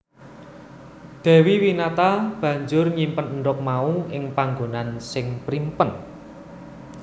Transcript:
Dewi Winata banjur nyimpen endhog mau ing panggonan sing primpen